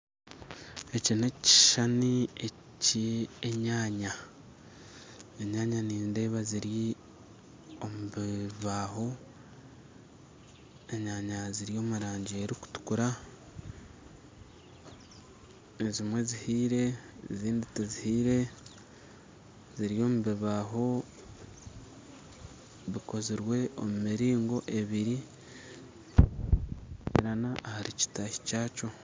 Eki n'ekishushani eky'enyaanya enyaanya nindeeba ziri omu bibaaho, enyaanya ziri omu rangi erikutukura ezimwe zihiire ezindi tizihiire ziri omu bibaaho bikozirwe omu miringo ebiri ahari kitaaahi kyakyo